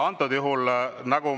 Antud juhul …